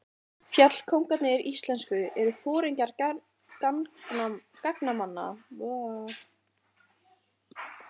Fjallkóngarnir íslensku eru foringjar gangnamanna, einnig kallaðir leitarforingjar eða gangnastjórar.